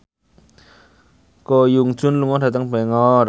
Ko Hyun Jung lunga dhateng Bangor